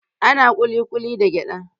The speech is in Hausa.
Ana kulikuli na da gyada.